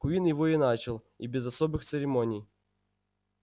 куинн его и начал и без особых церемоний